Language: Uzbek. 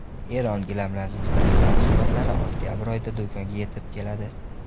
Eron gilamlarining birinchi mahsulotlari oktabr oyida do‘konga yetib keladi.